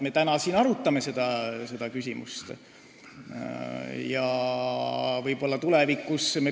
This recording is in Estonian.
Me täna siin arutame seda küsimust.